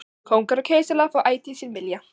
Kóngar og keisarar fá ætíð sinn vilja.